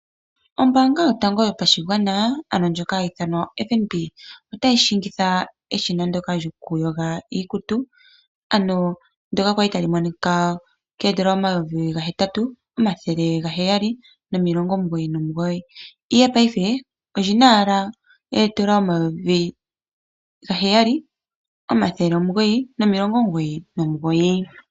Ombaanga yotango yopashigwana ano ndjoka hayi ithanwa oFNB otayi shingitha eshina lyokuyoga iikutu ndyoka kwali tali monika ko N$ 8799, ihe payife oli na owala N$ 7999.